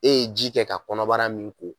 E ye ji kɛ ka kɔnɔbara min ko